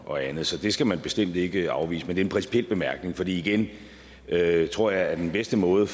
og andet så det skal man bestemt ikke afvise men det er en principiel bemærkning for igen jeg tror at den bedste måde